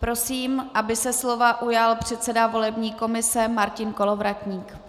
Prosím, aby se slova ujal předseda volební komise Martin Kolovratník.